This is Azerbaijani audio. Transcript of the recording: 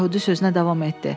Yəhudi sözünə davam etdi.